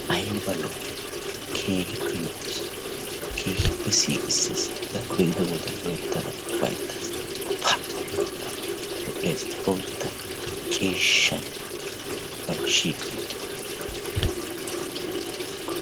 ayba lo''i keehippe lo''es keehippe siiqisses, pa! lo''ees boottaa ciishshay shiiqi uttidaagee.